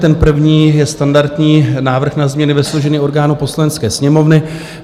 Ten první je standardní - Návrh na změny ve složení orgánů Poslanecké sněmovny.